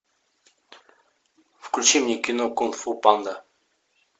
включи мне кино кунг фу панда